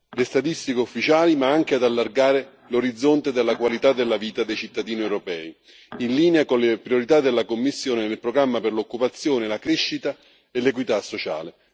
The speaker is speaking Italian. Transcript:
le statistiche ufficiali ma anche ad allargare l'orizzonte della qualità della vita dei cittadini europei, in linea con le priorità della Commissione nel programma per l'occupazione, la crescita e l'equità sociale.